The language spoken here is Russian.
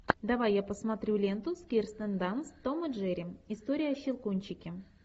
давай я посмотрю ленту с кирстен данст том и джерри история о щелкунчике